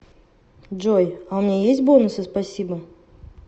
джой а у меня есть бонусы спасибо